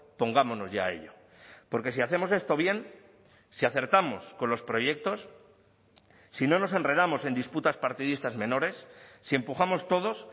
pongámonos ya a ello porque si hacemos esto bien si acertamos con los proyectos si no nos enredamos en disputas partidistas menores si empujamos todos